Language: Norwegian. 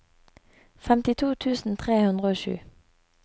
femtito tusen tre hundre og sju